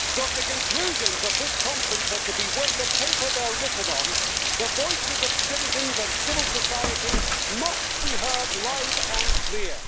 So, if the conclusions of this conference are to be worth the paper they're written on, the voices of citizens and civil society must be heard loud and clear.